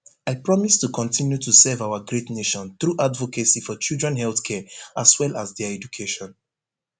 i promise to kotinu to serve our great nation through advocacy for children health care as well as dia education